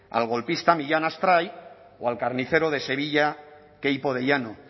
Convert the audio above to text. al golpista millán astray o al carnicero de sevilla queipo de llano